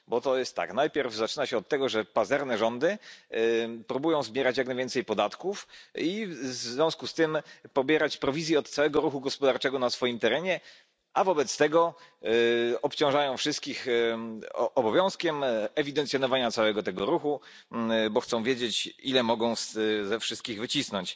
To jest tak najpierw zaczyna się od tego, że pazerne rządy próbują zbierać jak najwięcej podatków i w związku z tym pobierać prowizje od całego ruchu gospodarczego na swoim terenie, a wobec tego obciążają wszystkich obowiązkiem ewidencjonowania całego tego ruchu, bo chcą wiedzieć, ile mogą ze wszystkich wycisnąć.